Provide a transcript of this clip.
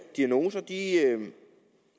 diagnoser